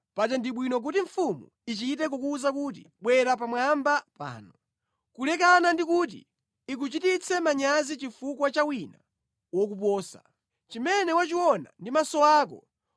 paja ndi bwino kuti mfumu ichite kukuwuza kuti, “Bwera pamwamba pano,” kulekana ndi kuti ikuchititse manyazi chifukwa cha wina wokuposa. Chimene wachiona ndi maso ako,